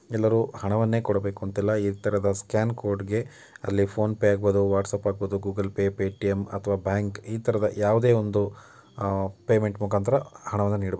ಎಲ್ಲರೂ ಹಣವನ್ನೇ ಕೊಡಬೇಕು ಅಂತ ಇಲ್ಲ ಇತರ ಸ್ಕ್ಯಾನರ್ ಕೋಡಿಗೆ ಫೋನ್ ಪೇ ಆಗಿರಬೌದು ವಾಟ್ಸಪ್ ಕೊಡಾಗಿರಬಹುದು ಗೂಗಲ್ಪೇ ಪೇಟಿಎಂ ಅಥವಾ ಬ್ಯಾಂಕ್ ಇತರದ ಯಾವುದೇ ಒಂದು ಪೇಮೆಂಟ್ ಮುಖಾಂತರ ಹಣವನ್ನು ನೀಡಬಹುದು.